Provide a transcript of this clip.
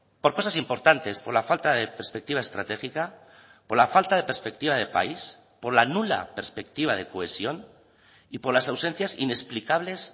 por cosas importantes por la falta de perspectiva estratégica por la falta de perspectiva de país por la nula perspectiva de cohesión y por las ausencias inexplicables